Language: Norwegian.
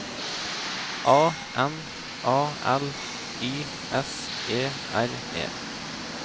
A N A L Y S E R E